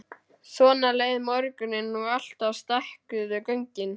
Svona leið morgunninn og alltaf stækkuðu göngin.